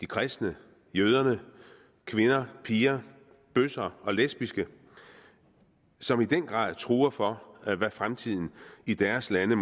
kristne jøder kvinder piger bøsser og lesbiske som i den grad gruer for hvad fremtiden i deres lande